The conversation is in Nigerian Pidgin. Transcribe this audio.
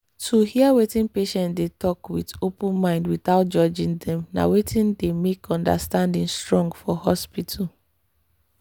to hear wetin patient dey talk with open mind without judging dem na wetin dey make understanding strong for hospital.